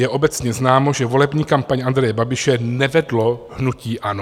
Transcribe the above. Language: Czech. Je obecně známo, že volební kampaň Andreje Babiše nevedlo hnutí ANO.